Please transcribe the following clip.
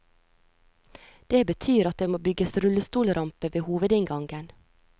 Det betyr at det må bygges rullestolrampe ved hovedinngangen.